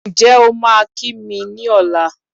Ǹjẹ́ o máa ki mi ní ọ̀la